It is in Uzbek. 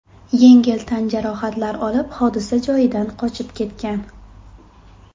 yengil tan jarohatlar olib, hodisa joyidan qochib ketgan.